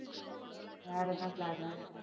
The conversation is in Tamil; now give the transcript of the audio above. வேற என்ன plan உ